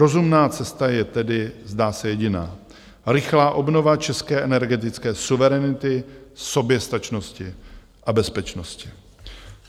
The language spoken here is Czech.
Rozumná cesta je tedy, zdá se, jediná: rychlá obnova české energetické suverenity, soběstačnosti a bezpečnosti.